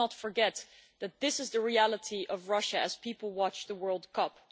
Let's not forget that this is the reality of Russia as people watch the World Cup.